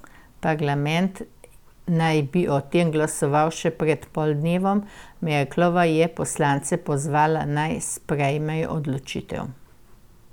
Parlament naj bi o tem glasoval še pred poldnevom, Merklova je poslance pozvala, naj sprejmejo odločitev.